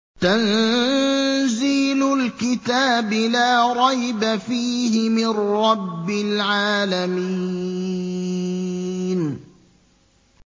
تَنزِيلُ الْكِتَابِ لَا رَيْبَ فِيهِ مِن رَّبِّ الْعَالَمِينَ